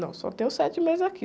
Não, só tenho sete meses aqui.